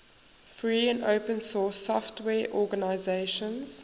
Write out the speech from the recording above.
free and open source software organizations